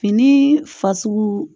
Fini fasugu